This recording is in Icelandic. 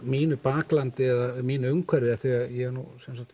mínu baklandi eða mínu umhverfi því